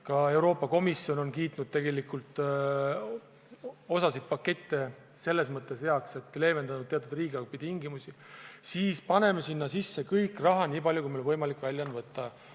Ka Euroopa Komisjon on kiitnud osa pakette selle mõttega heaks, et leevendada teatud riigihanketingimusi, nüüd paneme sinna sisse raha nii palju, kui meil võimalik on välja võtta.